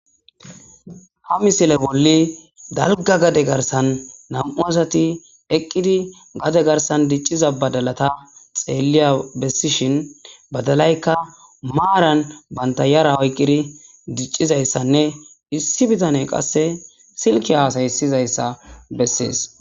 Ha misile bolli dalga gade garsan nam7u asati eqqidi gade garsan dicciza badalata xeelliya bessishin badalaykka maaran bantta yara oyqqidi diccizayssanne issi bitane qasse silki haasaysizayssa bessees.